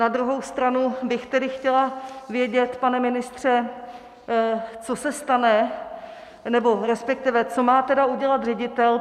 Na druhou stranu bych tedy chtěla vědět, pane ministře, co se stane, nebo respektive co má tedy udělat ředitel.